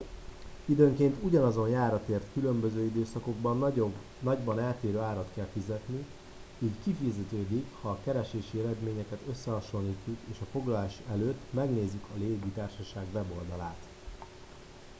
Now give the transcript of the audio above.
időnként ugyanazon járatért különböző időszakokban nagyban eltérő árat kell fizetni így kifizetődik ha a keresési eredményeket összehasonlítjuk és a foglalás előtt megnézzük a légitársaság weboldalát